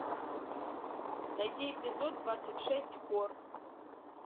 найти эпизод двадцать шесть хор